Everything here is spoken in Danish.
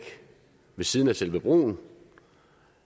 ved siden af selve broen